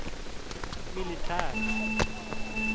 militär